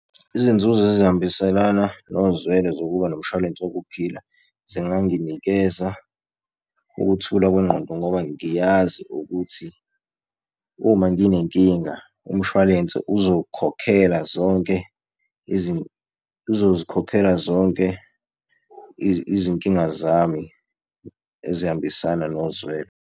Izinzuzo ezihambiselana nozwelo zokuba nomshwalense wokuphila, zinganginikeza ukuthula kwengqondo ngoba ngiyazi ukuthi uma nginenkinga umshwalense uzokhokhela zonke uzozikhokhela zonke izinkinga zami ezihambisana nozwelo.